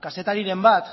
kazetariren bat